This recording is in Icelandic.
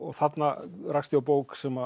þarna rakst ég á bók sem